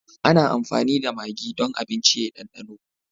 Ana amfani da magi don abinci ya yi ɗandano.